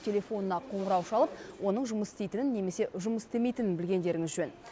телефонына қоңырау шалып оның жұмыс істейтінін немесе жұмыс істемейтінін білгендеріңіз жөн